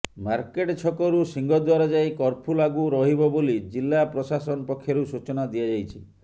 market ଛକରୁ ସିଂହଦ୍ୱାର ଯାଏ କର୍ଫ୍ୟୁ ଲାଗୁ ରହିବ ବୋଲି ଜିଲ୍ଲା ପ୍ରଶାସନ ପକ୍ଷରୁ ସୂଚନା ଦିଆଯାଇଛି